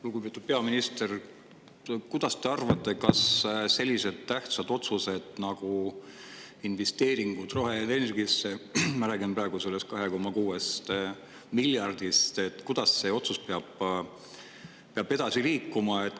Lugupeetud peaminister, mis te arvate, kuidas selline tähtis otsus nagu otsus investeerida roheenergiasse – ma räägin praegu sellest 2,6 miljardist – peab edasi liikuma?